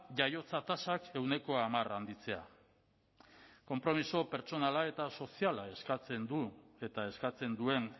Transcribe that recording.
jaiotza tasak ehuneko hamar handitzea konpromiso pertsonala eta soziala eskatzen duen